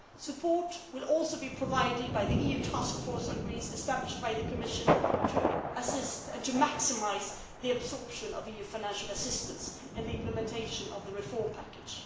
Support will also be provided by the EU Task Force on Greece established by the Commission to assist and maximise the absorption of EU financial assistance and the implementation of the reform package.